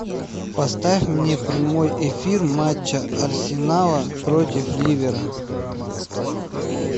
поставь мне прямой эфир матча арсенала против ливера